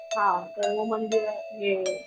हा तर मग मंदिर हे